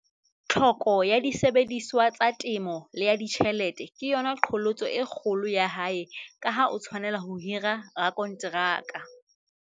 Tlhoko ya disebediswa tsa temo le ya ditjhelete ke yona qholotso e kgolo ya hae ka ha o tshwanela ho hira rakonteraka.